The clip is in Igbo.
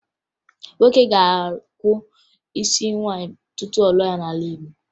Nwoke ga-akwụ ụgwọ isi nwaanyị tupu ọ lụọ ya n'ala Igbo